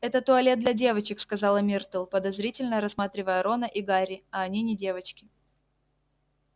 это туалет для девочек сказала миртл подозрительно рассматривая рона и гарри а они не девочки